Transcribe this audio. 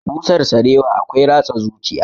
Busar sarewa akwai ratsa zuciya